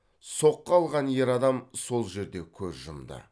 соққы алған ер адам сол жерде көз жұмды